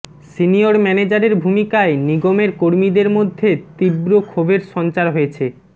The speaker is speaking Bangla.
সিনিয়র ম্যানেজারের ভূমিকায় নিগমের কর্মীদের মধ্যে তীব্র ক্ষোভের সঞ্চার হয়েছে